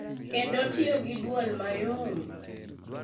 Kendo tiyo gi dwol mayom—